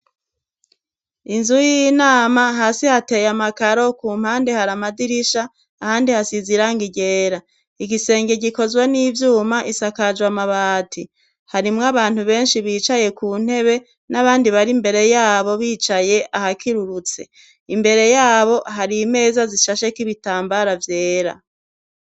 Inzu y'inama hasi hateye amakaro ku mpande hari amadirisha ahandi hasize irangi ryera. Igisenge gikozwe n'ivyuma isakajwe amabati. Harimwo abantu benshi bicaye ku ntebe n'abandi imbere yabo bicaye ahakirurutse. Imbere yabo hari imeza zishasheko ibitambara vyera.